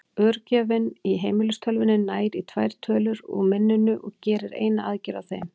Örgjörvinn í heimilistölvunni nær í tvær tölur úr minninu og gerir eina aðgerð á þeim.